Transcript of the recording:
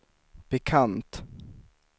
bekant